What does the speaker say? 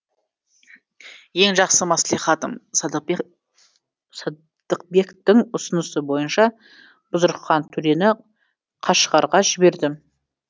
ең жақсы мәслихатым садықбектің ұсынысы бойынша бұзрықхан төрені қашғарға жібердім